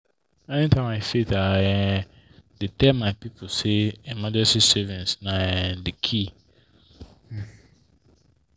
anytime i fit i um dey tell my people say emergency savings na um key. um